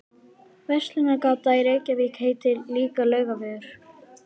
Verslunargatan í Reykjavík heitir líka Laugavegur.